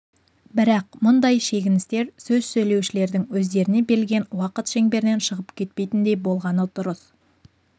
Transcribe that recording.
бірақ мұндай шегіністер сөз сөйлеушілердің өздеріне берілген уақыт шеңберінен шығып кетпейтіндей болғаны дұрыс